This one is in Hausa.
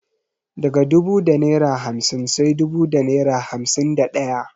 Daga dubu da naira hamsin sai dubu da naira hamsin da daya.